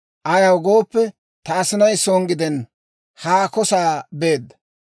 ayaw gooppe, ta asinay son gidenna; haako sa'aa beedda.